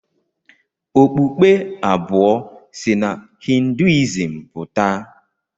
Okpukpe abụọ si na Hinduism pụta.